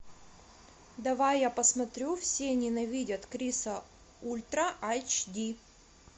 давай я посмотрю все ненавидят криса ультра айч ди